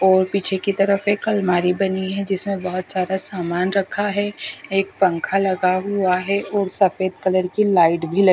और पीछे की तरफ एक अलमारी बनी है जिसमें बहुत ज्यादा सामान रखा है एक पंखा लगा हुआ है और सफेद कलर की लाइट भी लग--